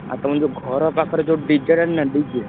ଆଉ ଯୋଉ ତମ ଘର ପାଖରେ ଯୋଉ DJ ଟା ନୁହଁ DJ ।